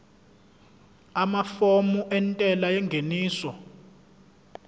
amafomu entela yengeniso